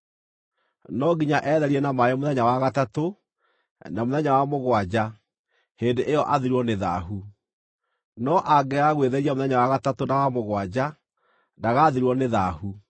No nginya etherie na maaĩ mũthenya wa gatatũ, na mũthenya wa mũgwanja; hĩndĩ ĩyo athirwo nĩ thaahu. No angĩaga gwĩtheria mũthenya wa gatatũ na wa mũgwanja, ndagaathirwo nĩ thaahu.